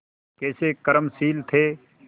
कैसे कर्मशील थे